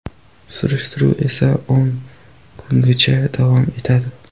Surishtiruv esa o‘n kungacha davom etadi.